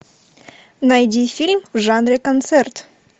найди фильм в жанре концерт